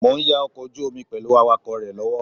Mo ń ya ọkọ̀ ojú omi pẹ̀lú awakọ̀ rẹ lọ́wọ́